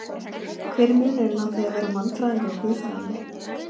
Hver er munurinn á því að vera mannfræðingur og guðfræðingur?